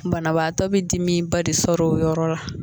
Banabaatɔ bɛ dimi ba de sɔrɔ o yɔrɔ la.